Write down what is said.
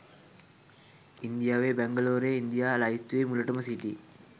ඉන්දියාවේ බැංගලෝරය ඉන්දියා ලැයිස්තුවේ මුලටම සිටී